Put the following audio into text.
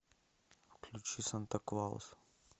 включи санта клаус